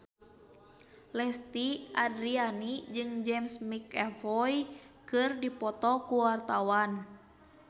Lesti Andryani jeung James McAvoy keur dipoto ku wartawan